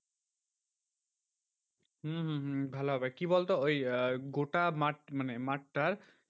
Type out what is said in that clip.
হম হম হম ভালো হবে। কি বলতো ওই আহ গোটা মাঠ মানে মাঠটার